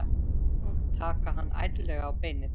Taka hann ærlega á beinið.